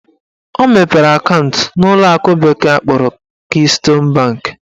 Ọ mepere akaụntụ n'ụlọakụ bekee kpọrọ Keystone bank